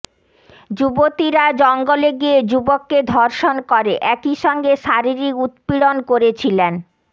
যুবতীরা জঙ্গলে গিয়ে যুবককে ধর্ষণ করে একই সঙ্গে শারীরিক উৎপীড়ন করেছিলেন